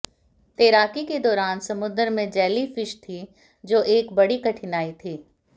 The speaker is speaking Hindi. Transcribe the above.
तैराकी के दौरान समुद्र में जैलीफिश थीं जो एक बड़ी कठिनाई थी